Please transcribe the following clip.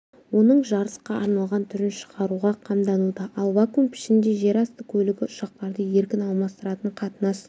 оның жарысқа арналған түрін шығаруға қамдануда ал вакум пішінде жерасты көлігі ұшақтарды еркін алмастыратын қатынас